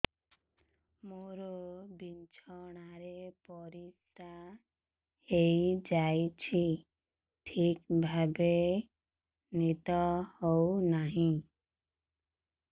ମୋର ବିଛଣାରେ ପରିସ୍ରା ହେଇଯାଉଛି ଠିକ ଭାବେ ନିଦ ହଉ ନାହିଁ